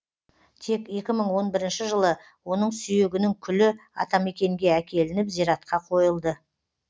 тек екі мың он бірінші жылы оның сүйегінің күлі атамекенге әкелініп зиратқа қойылды